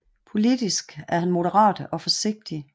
Politisk er han moderat og forsigtig